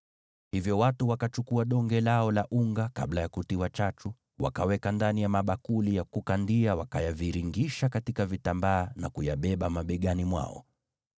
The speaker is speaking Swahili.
Hivyo watu wakachukua donge lao la unga kabla ya kutiwa chachu, wakaweka ndani ya mabakuli ya kukandia, wakayaviringisha katika vitambaa na kuyabeba mabegani mwao.